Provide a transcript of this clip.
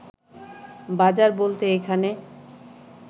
বাজার বলতে এখানে